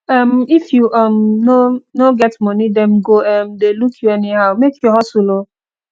um if you um no no get moni dem go um dey look you anyhow make you hustle o